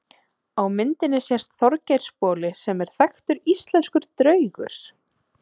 Á myndinni sést Þorgeirsboli sem er þekktur íslenskur draugur.